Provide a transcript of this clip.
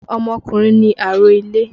Ọmọkùnrin ni àrólé.